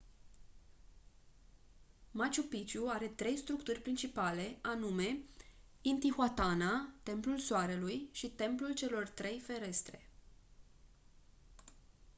machu picchu are trei structuri principale anume intihuatana templul soarelui și templul celor trei ferestre